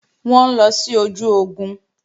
Wọ́n ń lọ sí ojú ogun